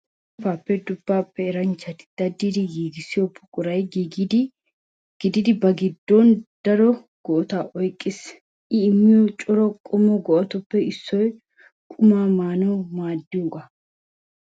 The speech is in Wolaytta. Samppay duppaappe eranchchati daddidi giigissiyo buqura gididi ba giddon daro go'ata oyqqiis. I immiyo cora qommo go'atuppe issoy qumaa maanawu maaddiyogaa.